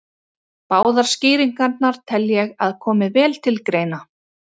Báðar skýringarnar tel ég að komi vel til greina.